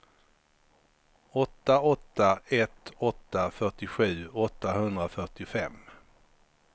åtta åtta ett åtta fyrtiosju åttahundrafyrtiofem